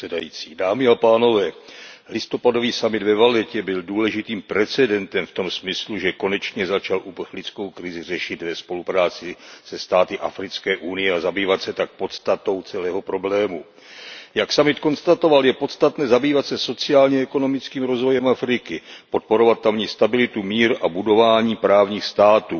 Pane předsedající, listopadový summit ve Vallettě byl důležitým precedentem v tom smyslu, že konečně začal uprchlickou krizi řešit ve spolupráci se státy Africké unie a zabývat se tak podstatou celého problému. Jak summit konstatoval, je podstatné zabývat se sociálně ekonomickým rozvojem Afriky, podporovat tamní stabilitu, mír a budování právních států.